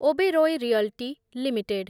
Oberoi realty limited